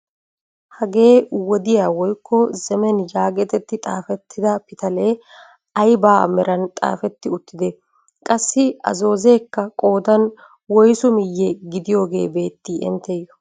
Hagee wodiyaa woykko zemen yagetetti xaafettida pitalee ayba meran xaafetti uttidee? qassi a zoozeekka qoodan woysu miye gidiyoogee beettii inttiyoo?